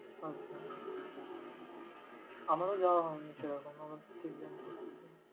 আচ্ছা! আমারও যাওয়া হয়নি সেরকমভাবে exam চলছিলো।